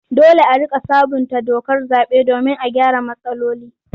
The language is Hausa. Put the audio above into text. Dole a riƙa sabunta dokar zaɓe domin a gyara matsaloli.